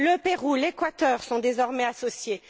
Le Pérou, l'Équateur, sont désormais associés.